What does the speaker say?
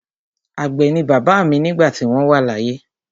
Àgbẹ̀ ni bàbá mi nígbà tí wọ́n wà láyé.